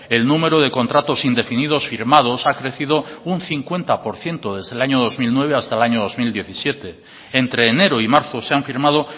el número de contratos indefinidos firmados ha crecido un cincuenta por ciento desde el año dos mil nueve hasta el año dos mil diecisiete entre enero y marzo se han firmado